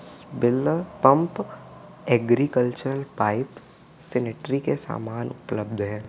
Birla pump agriculture pipe sanitary के सामान उपलब्ध हैं।